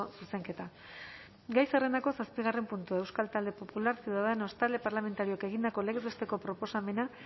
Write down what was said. zuzenketa gai zerrendako zazpigarren puntua euskal talde popularra ciudadanos talde parlamentarioak egindako legez besteko proposamena